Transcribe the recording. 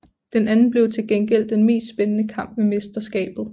Den anden blev til gengæld den mest spændende kamp ved mesterskabet